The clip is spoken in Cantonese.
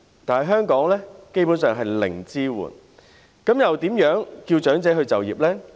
但是，在香港基本上是零支援，試問又如何叫長者再就業呢？